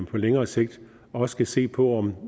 på længere sigt også skal se på